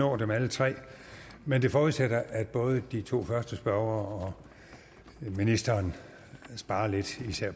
nå dem alle tre men det forudsætter at både de to første spørgere og ministeren sparer lidt